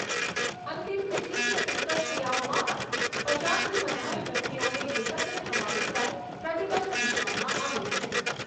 અંતિમ વિધી કે ઉત્તર ક્રિયાઓમાં પણ પચાસથી વધારે વ્યક્તિઓને એકત્ર થવા ઉપર પ્રતિબંધ મુકવામાં આવ્યો છે